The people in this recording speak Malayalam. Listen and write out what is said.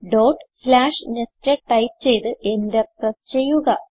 ഡോട്ട് സ്ലാഷ് നെസ്റ്റഡ് ടൈപ്പ് ചെയ്ത് എന്റർ പ്രസ് ചെയ്യുക